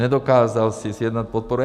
Nedokázal si sjednat podporu.